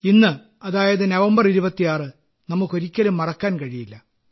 ഇന്ന് അതായത് നവംബർ 26 നമുക്ക് ഒരിക്കലും മറക്കാൻ കഴിയില്ല